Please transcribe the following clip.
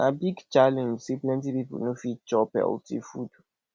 na big challenge sey plenty pipo no fit chop healthy food